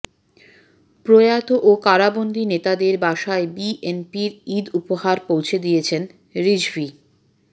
প্রয়াত ও কারাবন্দী নেতাদের বাসায় বিএনপির ঈদ উপহার পৌঁছে দিচ্ছেন রিজভী